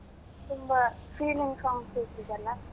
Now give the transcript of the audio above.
ತುಂಬಾ feeling songs ಇರ್ತದಲ್ಲ.